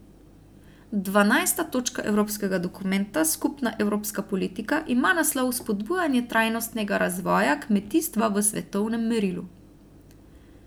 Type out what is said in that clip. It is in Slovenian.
Dvanajsta točka evropskega dokumenta Skupna evropska politika ima naslov Spodbujanje trajnostnega razvoja kmetijstva v svetovnem merilu.